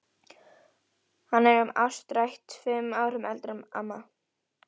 Hann er um áttrætt, fimm árum eldri en amma.